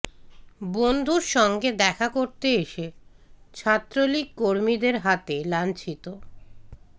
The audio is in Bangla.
বন্ধুর সঙ্গে দেখা করতে এসে ছাত্রলীগ কর্মীদের হাতে লাঞ্ছিত